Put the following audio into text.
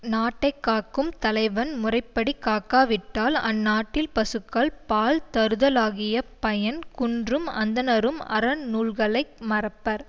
நாட்டை காக்கும் தலைவன் முறைப்படி காக்காவிட்டால் அந் நாட்டில் பசுக்கள் பால் தருதலாகிய பயன் குன்றும் அந்தணரும் அறநூல்களை மறப்பர்